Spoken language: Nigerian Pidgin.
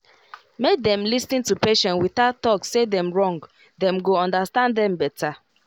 make dem lis ten to patient without talk say dem wrong dem go understand dem better